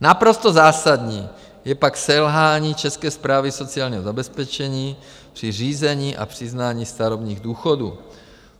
Naprosto zásadní je pak selhání České správy sociálního zabezpečení při řízení a přiznání starobních důchodů.